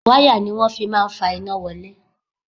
Wáyà ni wọ́n fi máa ń fa iná wọlé